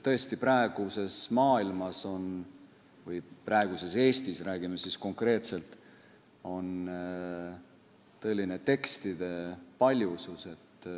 Tõesti, praeguses maailmas – või ka praeguses Eestis, räägime konkreetsemalt – on tõeline tekstide paljusus.